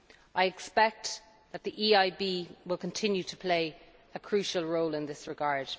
I expect that the EIB will continue to play a crucial role in this regard.